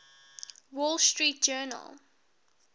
wall street journal